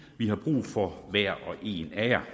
vi har brug for hver og en af jer